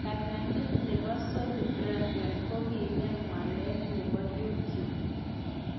Ptang'anyit nebo Sony Bravia ke gem walet nebo youtube